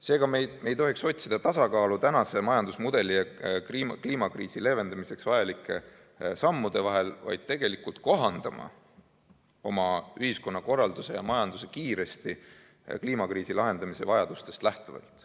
Seega me ei tohiks otsida tasakaalu tänase majandusmudeli ja kliimakriisi leevendamiseks vajalike sammude vahel, vaid peaksime tegelikult kohandama oma ühiskonnakorralduse ja majanduse kiiresti kliimakriisi lahendamise vajadustest lähtuvalt.